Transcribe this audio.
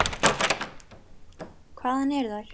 Hvaðan eru þær.